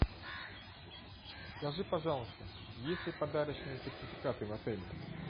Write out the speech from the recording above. скажи пожалуйста есть ли подарочные сертификаты в отеле